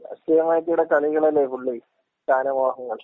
രാഷ്ട്രീയമായിട്ട് ഇവടെ കളികള്‍ അല്ലേ ഫുള്ള്. സ്ഥാനമോഹങ്ങൾ.